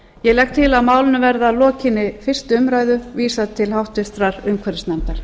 ég legg til að málinu verði að lokinni fyrstu umræðu vísað til háttvirtrar umhverfisnefndar